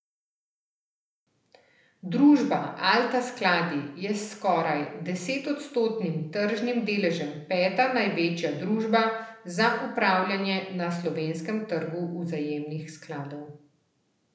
Družba Alta Skladi je s skoraj desetodstotnim tržnim deležem peta največja družba za upravljanje na slovenskem trgu vzajemnih skladov.